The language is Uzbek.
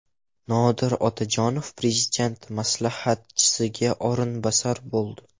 Nodir Otajonov Prezident maslahatchisiga o‘rinbosar bo‘ldi.